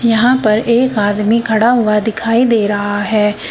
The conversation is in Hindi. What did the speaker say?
यहां पर एक आदमी खड़ा हुआ दिखाई दे रहा है।